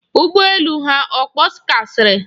Ụgbọ elu ha ọ kpọkasịrị?